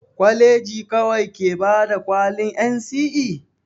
Kwaleji kawai ke bada kwalin NCE?